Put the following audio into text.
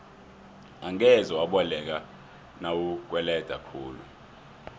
angeze waboleka nawukweleda khulu